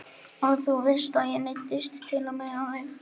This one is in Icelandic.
Og þú veist að ég neyddist til að meiða þig.